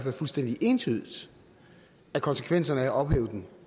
er fuldstændig entydigt at konsekvensen af at ophæve den